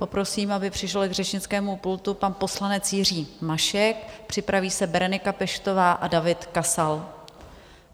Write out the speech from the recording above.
Poprosím, aby přišel k řečnickému pultu pan poslanec Jiří Mašek, připraví se Berenika Peštová a David Kasal.